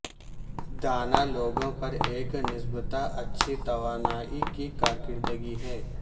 دانا لوگوں پر ایک نسبتا اچھی توانائی کی کارکردگی ہے